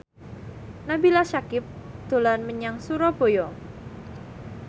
Nabila Syakieb dolan menyang Surabaya